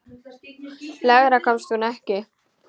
Lengra komst hún ekki.